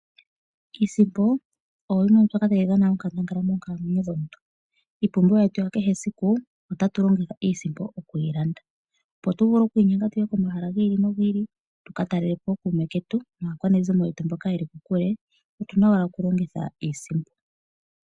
Iisimpo oyo yili tayi dhana onkandangala moonkalamwenyo yomuntu iipumbiwa yetu yakehe esiku otatu longitha iisimpo okuyilanda opo tuvule okwiinyenga tuye komahala gi ili nogi ili tuka talelepo ookume ketu naakwanezimo yetu mboka yeli kokule otuna owala okulogitha iisimpo.